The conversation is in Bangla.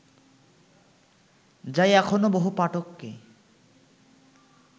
যা এখনও বহু পাঠককে